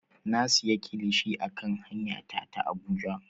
Na siya kilishi a kan hanya ta ta Abuja.